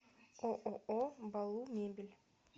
ооо балу мебель